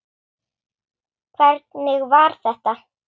Hvernig var þetta?!